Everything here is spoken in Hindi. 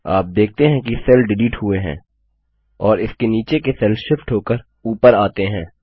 आप देखते हैं कि सेल डिलीट हुए हैं और इसके नीचे के सेल शिफ्ट होकर ऊपर आता हैं